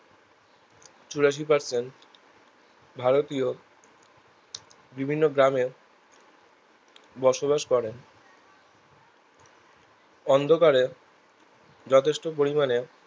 চুরাশি percent ভারতীয় বিভিন্ন গ্রামে বসবাস করেন অন্ধকারে যথেষ্ট পরিমানে